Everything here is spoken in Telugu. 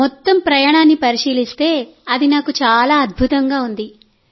మొత్తం ప్రయాణాన్ని పరిశీలిస్తేఅది నాకు చాలా అద్భుతంగా ఉంది